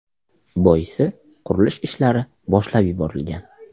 Boisi, qurilish ishlari boshlab yuborilgan.